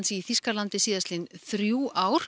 í Þýskalandi síðustu þrjú ár